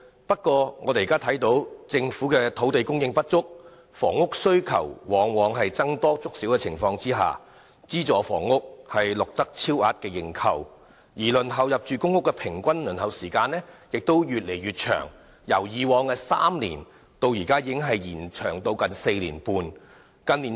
不過，政府土地供應不足，對房屋的需求在僧多粥少的情況下，資助房屋往往錄得超額認購；入住公屋的平均輪候時間亦越來越長，已經由以往的3年延長至現時的近4年半。